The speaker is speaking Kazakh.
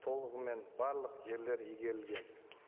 толығымен барлық жерлер игерілген